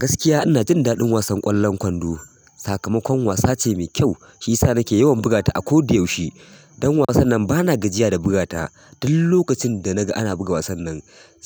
Gaskiya ina jin daɗin wasan kwallan kwando sakamakon wasa ce mai kyau, shi yasa na ke yawan bugata a koda yaushe. Ɗan wasan nan bana gajiya da bugata. Duk lokacin da na ga ana buga wasan nan,